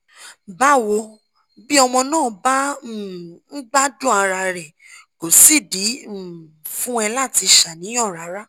bawo bí ọmọ náà bá um ń gbádùn ara rẹ kò sídìí um fún ẹ láti ṣàníyàn rárá